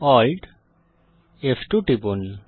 Alt ফ2 টিপুন